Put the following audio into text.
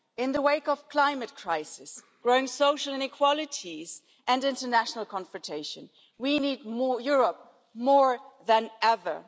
In the wake of climate crisis, growing social inequalities and international confrontation, we need Europe more than ever.